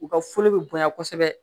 U ka foro be bonya kosɛbɛ